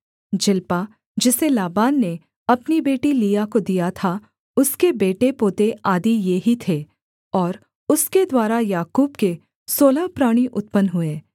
Zilpah जिसे Laban ने अपनी बेटी लिआ को दिया था उसके बेटे पोते आदि ये ही थे और उसके द्वारा याकूब के सोलह प्राणी उत्पन्न हुए